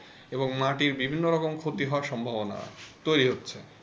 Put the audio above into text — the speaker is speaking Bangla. এবং মাটির বিভিন্ন রকম ক্ষতি হবার সম্ভাবনা তৈরি হচ্ছে।